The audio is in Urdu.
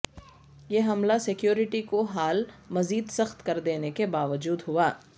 یہ حملہ سکیورٹی کو حال مزید سخت کر دینے کے باوجود ہوا